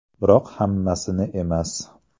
Biroq hammasini emas.